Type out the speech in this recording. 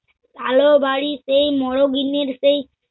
কালো বাড়ীর সেই মর গিন্নির সেই